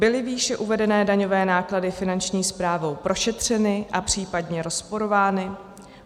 Byly výše uvedené daňové náklady Finanční správnou prošetřeny a případně rozporovány?